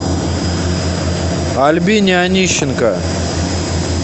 альбине анищенко